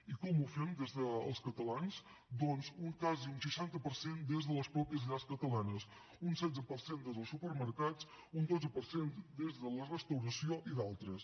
i com ho fem els catalans doncs quasi un seixanta per cent des de les mateixes llars catalanes un setze per cent des dels supermercats un dotze per cent des de la restauració i d’altres